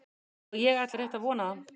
Og ég ætla rétt að vona það.